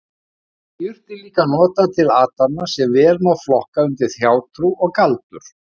Þá voru jurtir líka notaðar til athafna sem vel má flokka undir hjátrú og galdur.